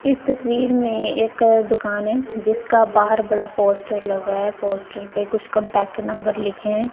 इस तस्वीर में एक दुकान है जिसका बाहर बड़ा पोस्टर लगा है पोस्टर पर कुछ कांटेक्ट नंबर लिखें हैं।